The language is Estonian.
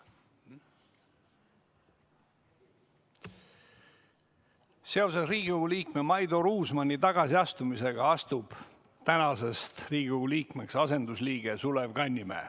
Seoses Riigikogu liikme Maido Ruusmanni tagasiastumisega astub tänasest Riigikogu liikmeks asendusliige Sulev Kannimäe.